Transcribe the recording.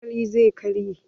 Cokalin zai karye.